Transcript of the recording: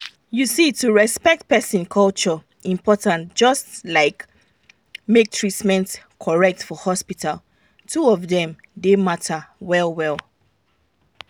you see to respect person culture important just like make treatment correct for hospital two of dem dey matter well well.